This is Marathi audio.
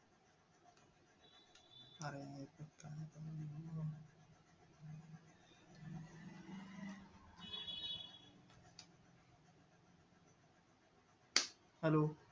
hello